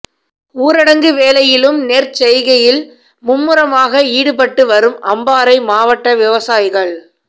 ஊரடங்கு வேளையிலும் நெற்செய்கையில் மும்முரமாக ஈடுபட்டு வரும் அம்பாறை மாவட்ட விவசாயிகள்